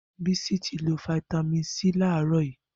Bisi ti ló fitàmín sí làrọ̀ yi